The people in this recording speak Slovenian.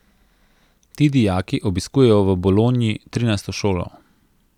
Ti dijaki obiskujejo v Bolonji trinajsto šolo.